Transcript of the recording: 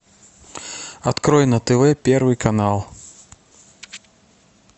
открой на тв первый канал